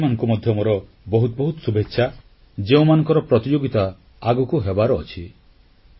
ସେହି ଖେଳାଳିମାନଙ୍କୁ ମଧ୍ୟ ମୋର ବହୁତ ବହୁତ ଶୁଭେଚ୍ଛା ଯେଉଁମାନଙ୍କର ପ୍ରତିଯୋଗିତା ଆଗକୁ ହେବାର ଅଛି